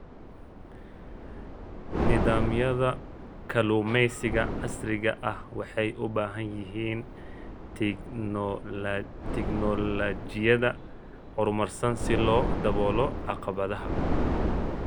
Nidaamyada kalluumeysiga casriga ah waxay u baahan yihiin tignoolajiyada horumarsan si loo daboolo caqabadaha.